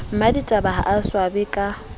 mmaditaba ha o swabe ka